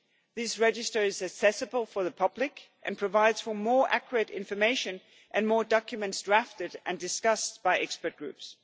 This register is accessible for the public and provides more accurate information and more documents drafted and discussed by expert groups.